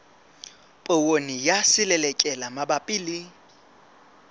poone ya selelekela mabapi le